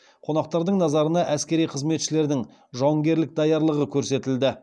қонақтардың назарына әскери қызметшілердің жауынгерлік даярлығы көрсетілді